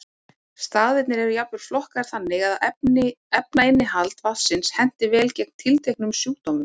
Staðirnir eru jafnvel flokkaðir þannig að efnainnihald vatnsins henti vel gegn tilteknum sjúkdómum.